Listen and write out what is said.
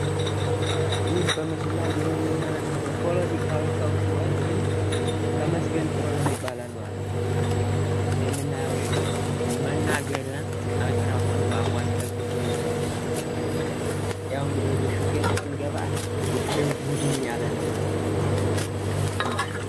ይህ በምስሉ ላይ የምንመለከተው ፖለቲካዊ ሰው ሲሆን ይህም ተመስገን ጥሩነህ ይባላል ማለት ነው። የምናየው መናገሪያ ማይክራፎን በአፉ አስጠግቶ ይዟል ማለት ነው። ያው እንግዲህ ወደ ሹፌቱ ስንገባ ጎፈሬው ድምድም ያለ ነው ማለት ነው ስናየው ስናሾፍ።